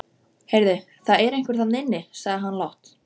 Heyrðu, það er einhver þarna inni sagði hann lágt.